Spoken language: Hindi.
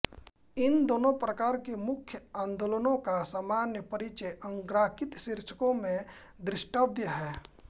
इन दोनों प्रकार के मुख्य आंदोलनों का सामान्य परिचय अग्रांकित शीर्षकों में द्रष्टव्य है